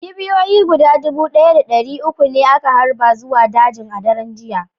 Kipiyoyi guda dubu ɗaya da ɗari uku ne aka harba zuwa dajin a dare ɗaya